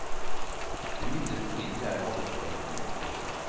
Det mildeste midlet jeg hadde var en hodepute.